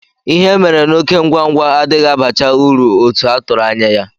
Ihe e mere n'oké ngwa ngwa adịghị abacha uru otu a tụrụ anya ya.